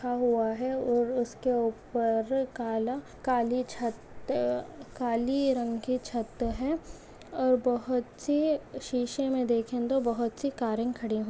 रखा हुआ है और उसके ऊपर काला काली छत्त काली रंग की छत है और बहुत सी शीशे मे देखेंगे तो बहुत सी कारे खड़ी हुई --